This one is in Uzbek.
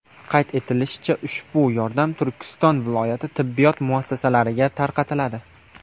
Qayd etilishicha, ushbu yordam Turkiston viloyati tibbiyot muassasalariga tarqatiladi.